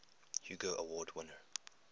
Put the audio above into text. hugo award winner